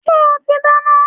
Ṣé o ti dáná?